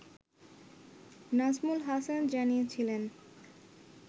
নাজমুল হাসান জানিয়েছিলেন